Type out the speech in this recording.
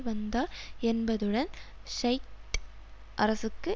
வந்தார் என்பதுடன் ஷியைட் அரசுக்கு